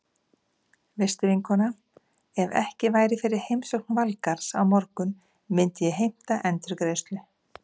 Veistu vinkona, ef ekki væri fyrir heimsókn Valgarðs á morgun myndi ég heimta endurgreiðslu.